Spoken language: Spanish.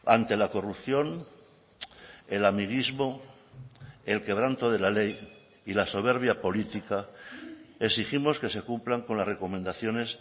ante la corrupción el amiguismo el quebranto de la ley y la soberbia política exigimos que se cumplan con las recomendaciones